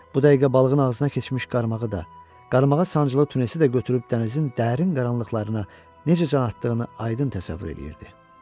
Bu dəqiqə balığın ağzına keçmiş qarmağı da, qarmağa sancılı tunisi də götürüb dənizin dərin qaranlıqlarına necə can atdığını aydın təsəvvür eləyirdi.